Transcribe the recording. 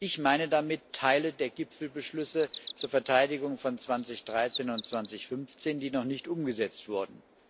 Ich meine damit Teile der Gipfelbeschlüsse zur Verteidigung von 2013 und 2015, die noch nicht umgesetzt wurden.